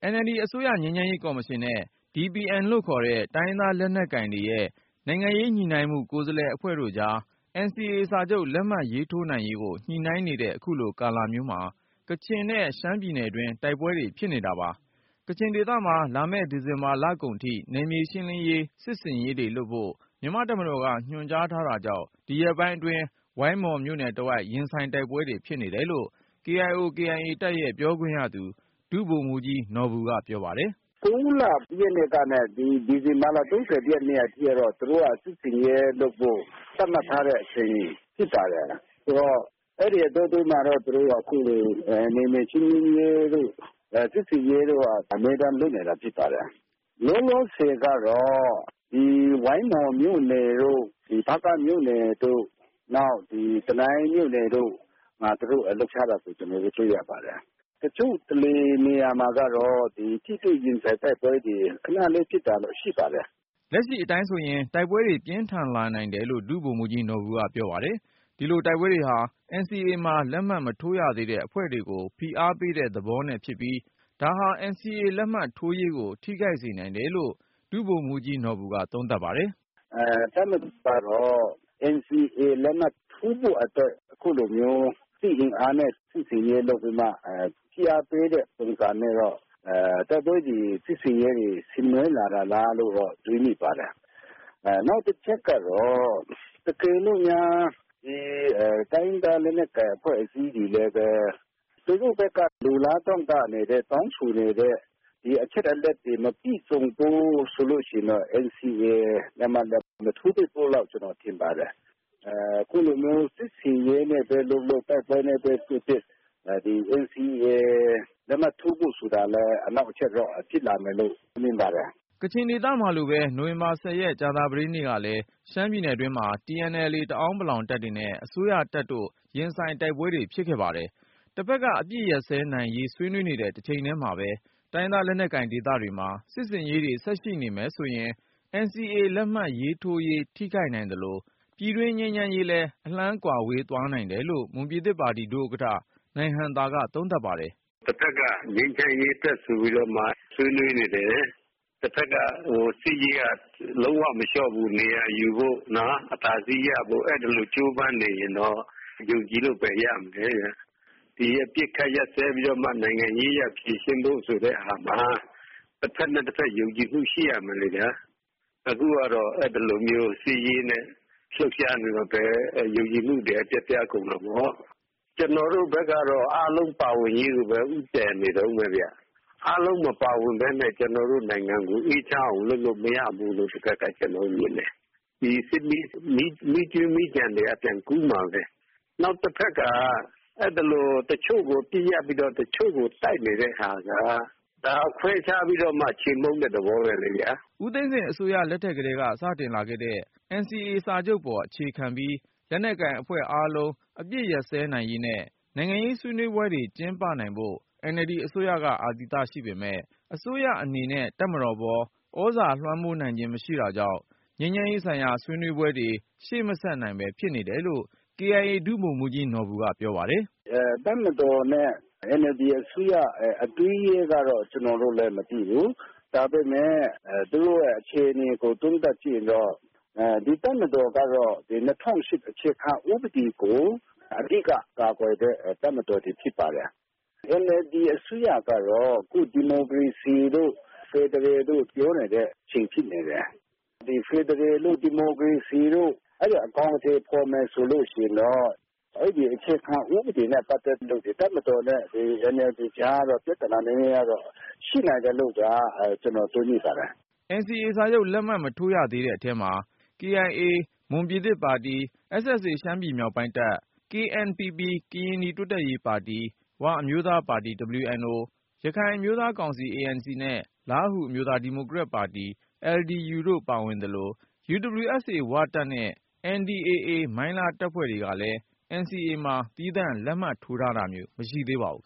NLD အစိုးရ ငြိမ်းချမ်းရေးကော်မရှင်နဲ့ DPN လို့ခေါ်တဲ့ တိုင်းရင်းသားလက်နက် ကိုင်တွေရဲ့ နိုင်ငံရေးညှိနှိုင်းမှုကိုယ်စားလှယ်အဖွဲ့တို့ကြား NCA စာချုပ် လက်မှတ် ထိုးနိုင်ရေးကို ညှိနှိုင်းနေတဲ့ အခုလိုကာလမျိုးမှာ ကချင်နဲ့ ရှမ်းပြည်နယ်တွင်း တိုက်ပွဲတွေ ဖြစ်နေတာပါ။ ကချင်ဒေသမှာ လာမယ့် ဒီဇင်ဘာ လကုန်ထိ နယ်မြေ ရှင်းလင်းရေး စစ်ဆင်ရေးတွေလုပ်ဖို့ မြန်မာ့တပ်မတော်က ညွှန်ကြားထား တာကြောင့် ဒီရက်ပိုင်းအတွင်း ဝိုင်းမော်မြို့နယ်တဝိုက် ရင်ဆိုင်တိုက်ပွဲတွေ ဖြစ်နေ တယ်လို့ KIO/ KIA တပ်ရဲ့ပြောခွင့်ရသူ ဒုဗိုလ်မှူးကြီး နော်ဘူက ပြောပါတယ်။ “ စက်တင်ဘာ ၁ ရက်နေ ဒီဇင်ဘာ ၃၁ ရက်နေ့ထိကတော့ သူတို့ စစ်ဆင်ရေးလုပ်ဖို့ သတ်မှတ်ထားတဲ့ အချိန် ဖြစ်ပါတယ်။ ဆိုတော့ အဲဒီ အတောတွင်းမှာတော့ သူတို့က အခုလို နယ်မြေရှင်းလင်းရေးတို့ စစ်ဆင်ရေးတို့က အမြဲတမ်း လုပ်နေတာ ဖြစ် ပါတယ်။ လောလောဆယ် ကတော့ ဝိုင်းမော်မြို့နယ်တို့ ဒီ ဖားကန့်မြို့နယ်တို့ ေ နာက် တနိုင်းမြို့နယ်တို့မှာ သူတို့လှုပ်ရှားတာကို ကျနော်တို့ တွေ့ရပါတယ်။ တချို့နေရာ မှာကတော့ ထိတွေ့ရင်ဆိုင် တိုက်ပွဲတွေ ခနလေးဖြစ်တာတော့ ရှိပါတယ် ” လက်ရှိအတိုင်းဆိုရင် တိုက်ပွဲတွေ ပြင်းထန်လာနိုင်တယ်လို့ ဒုဗိုလ်မှူးကြီးနော်ဘူ က ပြောပါတယ်။ ဒီလို တိုက်ပွဲတွေဟာ NCA မှာ လက်မှတ် မထိုးရသေးတဲ့ အဖွဲ့တွေကို ဖိအားပေးတဲ့သဘောနဲ့ ဖြစ်ပြီး ဒါဟာ NCA လက်မှတ်ထိုးရေးကို ထိခိုက်စေနိုင်တယ်လို့ ဒုဗိုလ်မှူးကြီး နော်ဘူက သုံးသပ်ပါတယ်။ “ တပ်မတော်ကတော့ NCA လက်မှတ်ထိုးဖို့အတွက် အခုလိုမျိုး စစ်အင်အားနဲ့ စစ်ဆင်ရေးလုပ်ပြီးမှ ဖိအားပေးတဲ့ပုံစမျိုး တိုက်ပွဲတွေ စစ်ဆင် ရေးတွေ ဆင်နွှဲ လာတာလားလို့ တွေးမိပါတယ်။ နောက်တချက်ကတော့ တကယ်လို့များ တိုင်းရင်း သား လက်နက်ကိုင်အဖွဲ့အစည်းတွေ လည်းပဲ သူတို့ဖက်က လိုလားတောင့်တနေ တဲ့ တောင်းဆိုနေတဲ့ ဒီအချက်အလက်တွေ မပြည့်စုံဘူး ဆိုလို့ရှိရင်တော့ ဒီNCA လက်မှတ်လည်း မထိုးဖြစ်ဘူးလို့ ကျနော်ထင်ပါတယ်။ အခုလို စစ်ဆင်ရေးပဲ လုပ်လုပ် တိုက်ပွဲပဲဖြစ်ဖြစ် NCA လက်မှတ်ထိုးဖို့ အနှောက်အယှက် ဖြစ်လာမယ် လို့တော့ မြင်ပါတယ် ” ကချင်ဒေသမှာလိုပဲ နိုဝင်ဘာ ၁၀ ရက် ကြာသပတေးနေ့ကလည်း ရှမ်းပြည်နယ် တွင်းမှာ TNLA တအာင်းပလောင်တပ်တွေနဲ့ အစိုးရတပ်တို့ ရင်ဆိုင်တိုက်ပွဲတွေ ဖြစ် ခဲ့ပါတယ်။ တဖက်က အပစ်ရပ်စဲနိုင်ရေးဆွေးနွေးနေတဲ့ တချိန်ထဲမှာပဲ တိုင်းရင်းသား လက်နက်ကိုင်ဒေသတွေမှာ စစ်ဆင်ရေးတွေ ဆက်ရှိနေမယ်ဆိုရင် NCA လက်မှတ် ထိုးရေး ထိခိုက်နိုင်သလို၊ ပြည်တွင်းငြိမ်းချမ်းရေးလည်းအလှမ်းဝေးကွာသွားနိုင် တယ်လို့ မွန်ပြည်သစ်ပါတီ ဒုဥက္ကဌ နိုင်ဟံသာက သုံးသပ်ပါတယ်။ “ တဖက်က ငြိမ်းချမ်းရေးအတွက်ဆိုပြီး ဆွေးနွေးနေတယ်၊ တဖက်က စစ်ရေးက လုံးဝမလျှော့ဘူး နေရာယူဖို့ အသာစီးရဖို့ အဲဒီလို ကြိုးပမ်း နေရင်တော့ ယုံကြည်လို့ ဘယ်ရမလဲဗျ။ ဒီ အပစ်ခတ်ရပ်စဲပြီးတော့မှ နိုင်ငံရေးအရ ဖြေရှင်းဖို့ ဆိုတဲ့ဟာမှာ တဖက်နဲ့တဖက် ယုံကြည်မှု ရှိရ မယ်လေဗျာ။ အခုကတော့ စစ်ရေးနဲ့ လှုပ်ရှားနေ ရင်တော့ ယုံကြည်မှု ပျက်ပြားကုန်မှာပေါ့။ ကျနော်တို့ဘက်ကတော့ အားလုံးပါ ဝင်ရေးကိုပဲ ဦးတည်နေတုန်းပဲ၊ အားလုံး မပါဝင်ပဲနဲ့ ကျနော်တို့ နိုင်ငံကို အေးချမ်းေ အာင် လုပ်လို့မရဘူးလို့ ကျနော်တို့မြင်တယ်။ ဒီ စစ်မီးကြွင်း မီးကျန် ဆိုတာက ပြန် ကူးမှာပဲ။ နောက်တဖက်က တချို့ကို အပစ်ရပ်ပြီး တချို့ကိုတိုက်နေတဲ့ဟာက ဒါ ခွဲခြားပြီးတော့မှ ခြေမှုန်းတဲ့သဘောပဲလေ ” ဦးသိန်းစိန်အစိုးရ လက်ထက်ကတည်းက စတင်လာခဲ့တဲ့ NCA စာချုပ်ပေါ် အခြေ ခံပြီး လက်နက်ကိုင်အဖွဲ့အားလုံး အပစ်ရပ်စဲနိုင်ရေးနဲ့နိုင်ငံရေးဆွေးနွေးပွဲတွေ ကျင်းပနိုင်ဖို့ NLD အစိုးရက အာသီသရှိပေမယ့် အစိုးရအနေနဲ့ တပ်မတော်ပေါ် သြဇာ လွှမ်းမိုးနိုင်ခြင်း မရှိတာကြောင့် ငြိမ်းချမ်းရေးဆိုင်ရာ ဆွေးနွေးပွဲတွေ ရှေ့ မဆက်နိုင်ပဲ ဖြစ်နေတယ်လို့KIA ဒုဗိုလ်မှူးကြီး နော်ဘူက ပြောပါတယ်။ “ တပ်မတော်နဲ့ NLD အစိုးရ အတွင်းရေးကတော့ ကျနော်တို့လည်း မသိဘူး၊ ဒါပေမယ့် သူတို့ရဲ့အခြေအနေကို သုံးသပ်ကြည့်ရင်တော့ ဒီ တပ်မတော်က ၂၀၀၈ အခြေခံဥပဒေကို အဓိက ကာကွယ်တဲ့ တပ်မတော်ဖြစ်နေပါတယ်။ NLD အစိုးရ ကတော့ ဒီမိုကရေစီတို့ ဖယ်ဒရယ်တို့ ပြောနေတဲ့အချိန် ဖြစ်နေတယ်။ ဖယ်ဒရယ်တို့ ဒီမိုကရေစီတို့ အဲလို အကောင်အထည်ဖေါ်မယ် ဆိုလို့ရှိရင်တော့ အဲဒီအခြေခံ ဥပဒေနဲ့ ပတ်သက်လို့ တပ်မတော်နဲ့ NLD ကြား ပြသနာရှိနိုင်တယ်လို့ ကျနော်တွေး မိပါတယ် ” NCA စာချုပ် လက်မှတ်မထိုးရသေးတဲ့ အထဲမှာ ကချင်လွတ်လပ်ရေးတပ် မွန်ပြည်သစ်ပါတီ ရှမ်းမြောက်ပိုင်းတပ် ကရင်နီတိုးတက်ရေးပါတီ ဝအမျိုးသားပါတီ ရခိုင်အမျိုးသားကောင်စီ နဲ့ လားဟူအမျိုးသား ဒီမိုကရက်ပါတီ တို့ ပါဝင်သလို၊ UWSA ဝတပ်နဲ့ NDAA မိုင်းလားတပ်တွေကလည်း NCA မှာ သီးသန့်လက်မှတ်ထိုးထားတာမျိုး မရှိသေးပါဘူး။